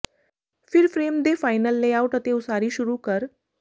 ਫਿਰ ਫਰੇਮ ਦੇ final layout ਅਤੇ ਉਸਾਰੀ ਸ਼ੁਰੂ ਕਰ